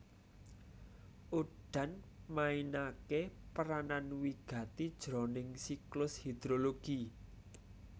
Udan mainaké peranan wigati jroning siklus hidrologi